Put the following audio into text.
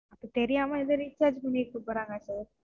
அப்ப தெரியாம எதும் Recharge பண்ணிருக்க போறாங்க Sir,